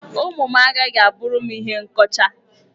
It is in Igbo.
Ụmụ m agaghị a bụrụ m ihe nkọcha.